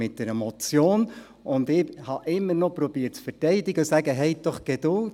Und ich habe immer noch versucht, zu verteidigen und zu sagen: Haben Sie doch Geduld;